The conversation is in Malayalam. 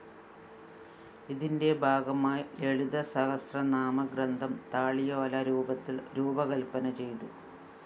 ഇതിന്റെ ഭാഗമായി ലളിതാസഹസ്രനാമ ഗ്രന്ഥം താളിയോല രൂപത്തില്‍ രൂപകല്‍പന ചെയ്തു